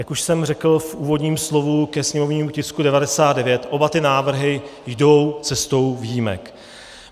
Jak už jsem řekl v úvodním slovu ke sněmovnímu tisku 99, oba ty návrhy jdou cestou výjimek.